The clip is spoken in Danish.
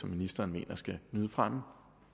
ministeren mener skal nyde fremme